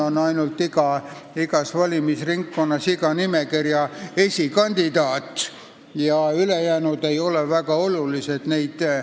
Igas valimisringkonnas on oluline ainult nimekirja esikandidaat ja ülejäänud ei ole väga olulised.